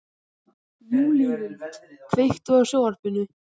Júlíhuld, kveiktu á sjónvarpinu.